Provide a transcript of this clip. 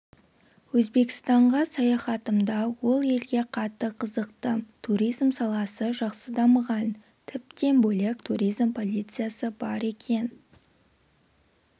өзбекстанға саяхатымда ол елге қатты қызықтым туризм саласы жақсы дамыған тіптен бөлек туризм полициясы бар екен